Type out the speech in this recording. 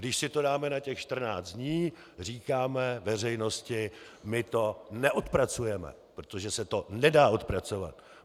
Když si to dáme na těch 14 dní, říkáme veřejnosti: My to neodpracujeme, protože se to nedá odpracovat.